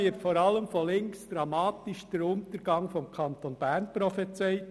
Zudem wird vor allem von links der Untergang des Kantons Bern prophezeit.